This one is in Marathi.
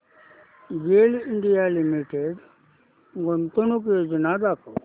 गेल इंडिया लिमिटेड गुंतवणूक योजना दाखव